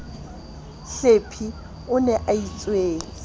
hlephe o ne a itswetse